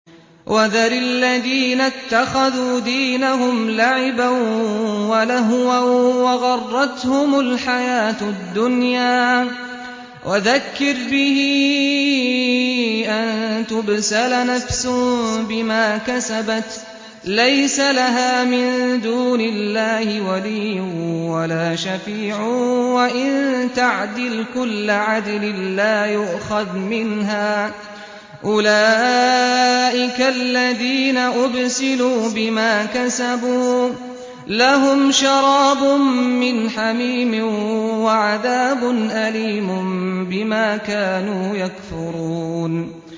وَذَرِ الَّذِينَ اتَّخَذُوا دِينَهُمْ لَعِبًا وَلَهْوًا وَغَرَّتْهُمُ الْحَيَاةُ الدُّنْيَا ۚ وَذَكِّرْ بِهِ أَن تُبْسَلَ نَفْسٌ بِمَا كَسَبَتْ لَيْسَ لَهَا مِن دُونِ اللَّهِ وَلِيٌّ وَلَا شَفِيعٌ وَإِن تَعْدِلْ كُلَّ عَدْلٍ لَّا يُؤْخَذْ مِنْهَا ۗ أُولَٰئِكَ الَّذِينَ أُبْسِلُوا بِمَا كَسَبُوا ۖ لَهُمْ شَرَابٌ مِّنْ حَمِيمٍ وَعَذَابٌ أَلِيمٌ بِمَا كَانُوا يَكْفُرُونَ